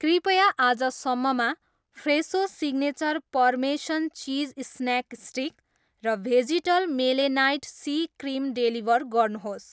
कृपया आजसम्ममा फ्रेसो signature parmesan cheese snack stick र भेजिटल मेलेनाइट सी क्रिम डेलिभर गर्नुहोस्।